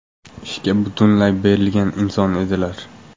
Ishga butunlay berilgan inson edilar.